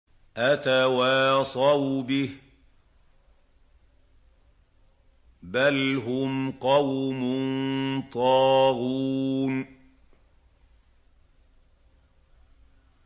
أَتَوَاصَوْا بِهِ ۚ بَلْ هُمْ قَوْمٌ طَاغُونَ